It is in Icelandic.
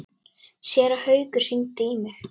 Séra Haukur hringdi í mig.